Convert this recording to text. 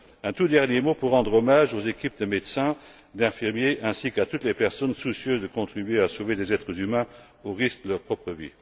Un tout dernier mot pour rendre hommage aux équipes de médecins, d'infirmiers ainsi qu'à toutes les personnes soucieuses de contribuer à sauver des êtres humains au risque de leur propre vie.